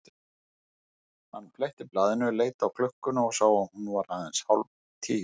Hann fletti blaðinu, leit á klukkuna og sá að hún var aðeins hálf tíu.